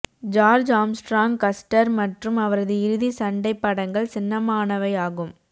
George Armstrong Custer மற்றும் அவரது இறுதி சண்டை படங்கள் சின்னமானவையாகும்